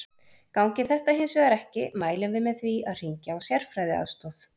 Gangi þetta hins vegar ekki mælum við með því að hringja á sérfræðiaðstoð.